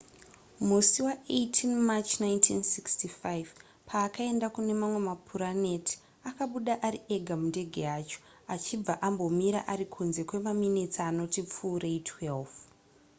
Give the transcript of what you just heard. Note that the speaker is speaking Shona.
musi wa18 march 1965 paakaenda kune mamwe mapuraneti akabuda ari ega mundege yacho achibva ambomira ari kunze kwemaminitsi anoti pfuurei 12